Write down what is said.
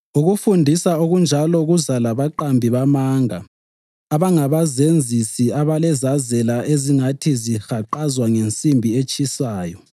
Ukufundisa okunjalo kuza labaqambi bamanga abangabazenzisi abalezazela ezingathi zahaqazwa ngensimbi etshisayo.